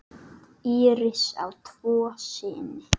Íris á tvo syni.